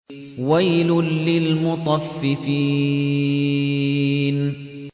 وَيْلٌ لِّلْمُطَفِّفِينَ